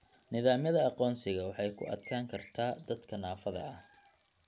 Nidaamyada aqoonsiga waxay ku adkaan kartaa dadka naafada ah.